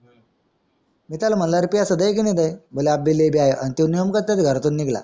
मी त्याला म्हणलं आणि तो नेमका त्याच घरातून निघाला